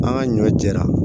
An ka ɲɔ jɛra